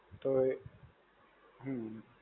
તો, હમ્મ.